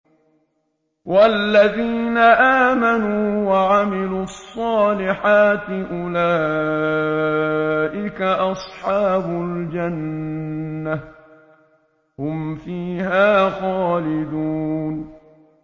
وَالَّذِينَ آمَنُوا وَعَمِلُوا الصَّالِحَاتِ أُولَٰئِكَ أَصْحَابُ الْجَنَّةِ ۖ هُمْ فِيهَا خَالِدُونَ